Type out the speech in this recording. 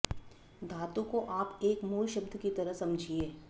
धातु को आप एक मूल शब्द की तरह समझिए